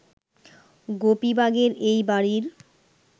গোপীবাগের এই বাড়ির